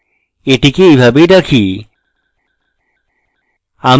এটিকে এইভাবেই রাখি